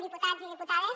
diputats i diputades